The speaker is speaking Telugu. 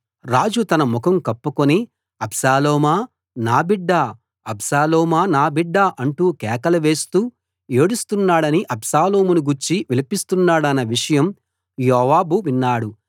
రాజు తన ముఖం కప్పుకుని అబ్షాలోమా నా బిడ్డా అబ్షాలోమా నా బిడ్డా అంటూ కేకలువేస్తూ ఏడుస్తున్నాడని అబ్షాలోమును గూర్చి విలపిస్తున్నాడన్న విషయం యోవాబు విన్నాడు